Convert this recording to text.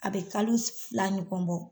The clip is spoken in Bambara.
A bɛ kalo fila ɲɔkɔn bɔ.